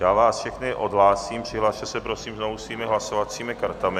Já vás všechny odhlásím, přihlaste se, prosím, znovu svými hlasovacími kartami.